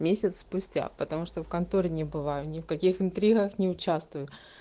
месяц спустя потому что в конторе не бываю не в каких интригах не участвую